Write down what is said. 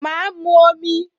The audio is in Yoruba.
Ma mu omi